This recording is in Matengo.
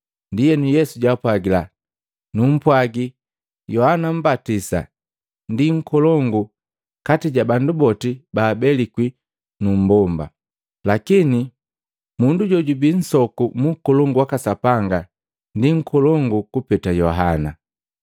Ndienu Yesu jaapwajila, “Numpwagi, Yohana Mmbatisa ndi nkolongu kati ja bandu boti baabelikwi nu mmbomba. Lakini mundu jojubi nsoku mu Ukolongu waka Sapanga ndi nkolongu kupeta Yohana.”